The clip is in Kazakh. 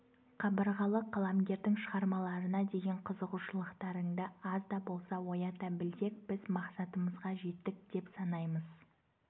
қабырғалы қаламгердің шығармаларына деген қызығушылықтарыңды аз да болса оята білсек біз мақсатымызға жеттік деп санаймыз